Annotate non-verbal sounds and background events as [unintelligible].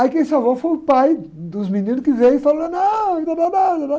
Aí quem salvou foi o pai dos meninos que veio e falou, não, e [unintelligible]